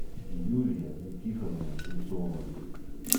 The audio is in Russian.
юлия никифоровна швецова